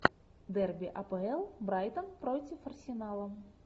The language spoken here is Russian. дерби апл брайтон против арсенала